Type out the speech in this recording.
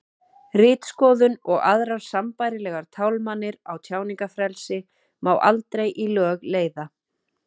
ritskoðun og aðrar sambærilegar tálmanir á tjáningarfrelsi má aldrei í lög leiða